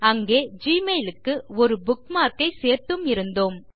அங்கே ஜிமெயில் க்கு ஒரு புக்மார்க் ஐ சேர்த்தும் இருந்தோம்